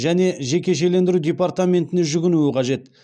және жекешелендіру департаментіне жүгінуі қажет